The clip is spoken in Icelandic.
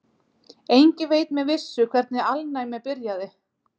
Enginn veit með vissu hvernig alnæmi byrjaði.